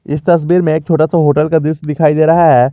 इस तस्वीर में एक छोटा सा होटल का दृश्य दिखाई दे रहा है।